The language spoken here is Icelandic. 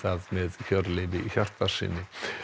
með Hjörleifi Hjartarsyni